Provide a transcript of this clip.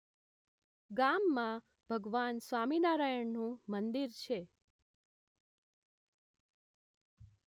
ગામમાં ભગવાન સ્વામિનારાયણનું મંદિર છે